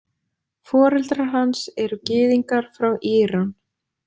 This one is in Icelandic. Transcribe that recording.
Foreldrar hans eru gyðingar frá Íran.